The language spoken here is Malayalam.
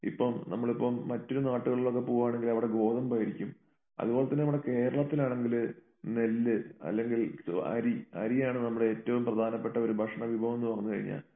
ഇപ്പം നമ്മളിപ്പം മറ്റൊരു നാട്ടുകളിലൊക്കെ പോകുവാണെങ്കിൽ അവിടെ ഗോതമ്പായിരിക്കും. അതുപോലെതന്നെ നമ്മുടെ കേരളത്തിലാണെങ്കില് നെല്ല് അല്ലെങ്കിൽ അരി അരിയാണ് നമ്മുടെ ഏറ്റവും പ്രധാനപ്പെട്ട ഒരു ഭക്ഷണ വിഭവം എന്ന് പറഞ്ഞു കഴിഞ്ഞാൽ